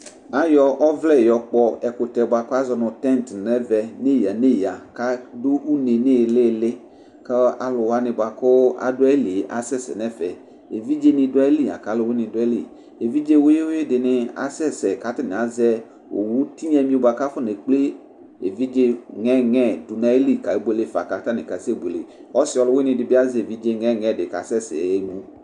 Aƴɔ ɔvlɛ ƴɔ ƙpɔ ɛƙʋtɛ bʋa ƙʋ azɔ nʋ tɛnt nʋ ɛvɛ nʋ iƴǝ nʋ iƴǝ ,ƙʋ aɖʋ une nʋ ɩhɩlɩlɩ ƙʋ alʋ wanɩ bʋaƙʋ aɖʋ aƴili ƴɛ asɛ sɛ nʋ ɛfɛEviɖze nɩ ɖʋ aƴili laƙʋ alʋwɩnɩ nɩ ɖʋ aƴiliEviɖze wʋɩwʋɩ ɖɩnɩ asɛ sɛ ƙʋ ata nɩ azɛ owu tɩnya ƴɛ bʋa ƙʋ afɔ neƙple eviɖze ŋɛŋɛ ɖʋ nʋ aƴili nebuele fa ƙʋ atanɩ ƙasɛbueleƆsɩ ɔlʋwɩnɩ ɖɩ bɩ, azɛ eviɖze ŋɛŋɛ ƙʋ asɛ sɛ, ƴaɣa emu